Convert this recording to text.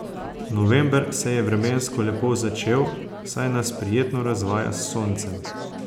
November se je vremensko lepo začel saj nas prijetno razvaja s soncem.